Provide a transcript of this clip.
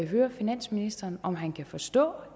høre finansministeren om han kan forstå